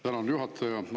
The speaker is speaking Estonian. Tänan, juhataja!